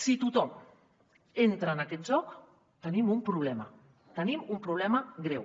si tothom entra en aquest joc tenim un problema tenim un problema greu